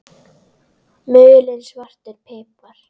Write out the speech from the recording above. Mulinn svartur pipar